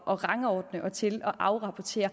at rangordne og til at afrapportere